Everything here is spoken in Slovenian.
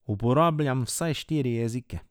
Uporabljam vsaj štiri jezike.